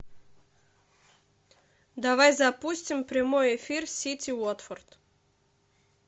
давай запустим прямой эфир сити уотфорд